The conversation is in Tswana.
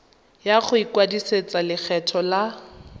ya go ikwadisetsa lekgetho la